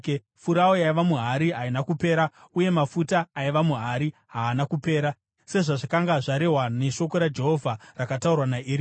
Furawu yaiva muhari haina kupera uye mafuta aiva muhari haana kupera, sezvazvakanga zvarehwa neshoko raJehovha rakataurwa naEria.